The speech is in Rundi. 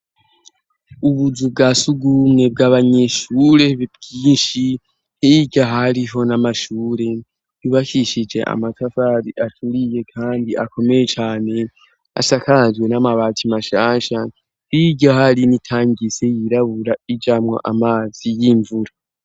Ubuzu bwa sugumwe bw'abanyeshure bwinshi ijo hariho n'amashure nubakishije amatavari aturiye kandi akomeye cyane asakazwe n'amabatsi mashasha ijo hari n'itangise yirabura ijamwo amazi y'imvura.